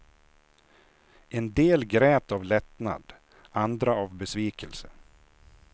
En del grät av lättnad andra av besvikelse.